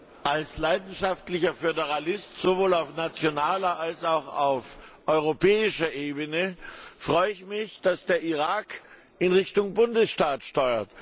Als leidenschaftlicher Föderalist sowohl auf nationaler als auch auf europäischer Ebene freue ich mich, dass der Irak in Richtung Bundesstaat steuert.